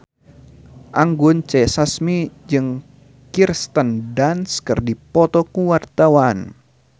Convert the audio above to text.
Anggun C. Sasmi jeung Kirsten Dunst keur dipoto ku wartawan